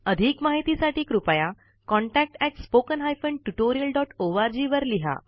अधिक माहिती साठी contactspoken tutorialorgवर संपर्क करा